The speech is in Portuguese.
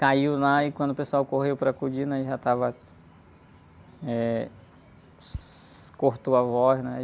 Caiu lá e quando o pessoal correu para acudir, né? Ele já estava... Eh... Cortou a voz, né?